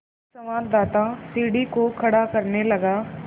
एक संवाददाता सीढ़ी को खड़ा करने लगा